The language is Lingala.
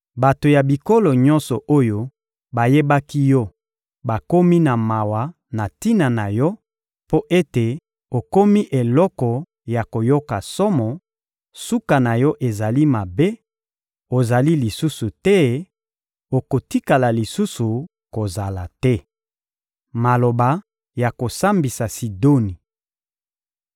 Bato ya bikolo nyonso oyo bayebaki yo bakomi na mawa na tina na yo mpo ete okomi eloko ya koyoka somo: suka na yo ezali mabe, ozali lisusu te, okotikala lisusu kozala te!›» Maloba ya kosambisa Sidoni